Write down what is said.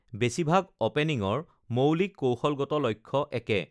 বেছিভাগ অ'পেনিংৰ মৌলিক কৌশলগত লক্ষ্য একে: